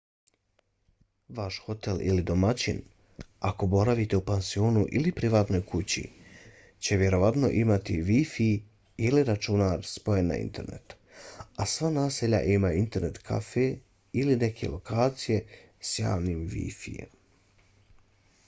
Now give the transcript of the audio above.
vaš hotel ili domaćini ako boravite u pansionu ili privatnoj kući će vjerovatno imati wi-fi ili računar spojen na internet a sva naselja imaju internet kafe ili neku lokaciju s javnim wi-fijem